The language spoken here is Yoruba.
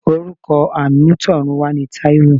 Orúkọ amutorunwa ni Taiwo.